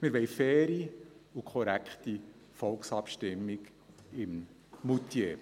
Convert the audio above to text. Wir wollen eine faire und korrekte Volksabstimmung in Moutier.